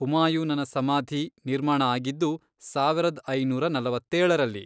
ಹುಮಾಯೂನನ ಸಮಾಧಿ ನಿರ್ಮಾಣ ಆಗಿದ್ದು ಸಾವರದ್ ಐನೂರ ನಲವತ್ತೇಳರಲ್ಲಿ.